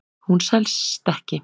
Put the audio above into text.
Hún sest ekki.